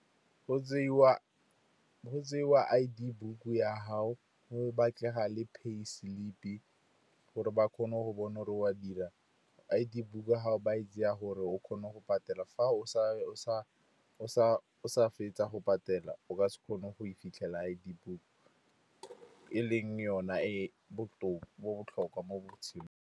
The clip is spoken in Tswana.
Go tseiwa I_D book ya gago, go batlega le pay slip, gore ba kgone go bona gore wa dira. I_D book ya gago ba e tseya gore o kgone go patela. Fa o sa fetsa go patela, o ka se kgone go e fitlhela I_D book e leng yona e botlhokwa mo botshelong.